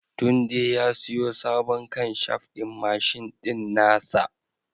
Tunde ya siyo sabon kanshaf ɗin mashin ɗin nasa